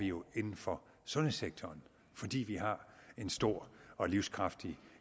jo inden for sundhedssektoren fordi vi har en stor og livskraftig